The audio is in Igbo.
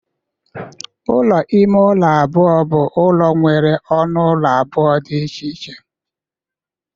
Ụlọ ime ụlọ. abụọ bụ ụlọ nwere ọnụ ụlọ abụọ dị iche iche